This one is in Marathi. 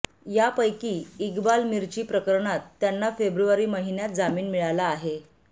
यापैकी इक्बाल मिर्ची प्रकरणात त्यांना फेब्रुवारी महिन्यात जामीन मिळाला आहे